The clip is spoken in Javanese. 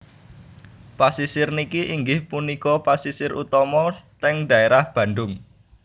Pasisir niki inggih punika pasisir utama teng daerah Bandung